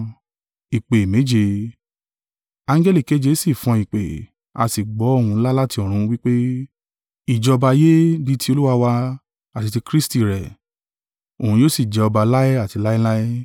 Angẹli keje sì fọn ìpè; a sì gbọ́ ohùn ńlá láti ọ̀run, wí pé, “Ìjọba ayé di ti Olúwa wá, àti tí Kristi rẹ̀; òun yóò sì jẹ ọba láé àti láéláé!”